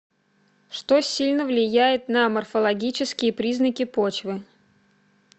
что сильно влияет на морфологические признаки почвы